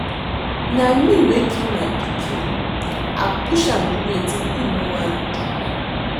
Na me wey kill my pikin. I push am do wetin he no wan do